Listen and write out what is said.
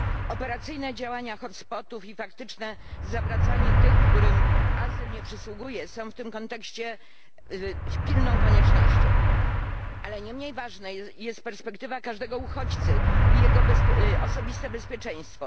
Operacyjne działania hot spotów i faktyczne zawracanie tych, którym azyl nie przysługuje, są w tym kontekście pilną koniecznością, ale nie mniej ważna jest perspektywa każdego uchodźcy i jego osobiste bezpieczeństwo.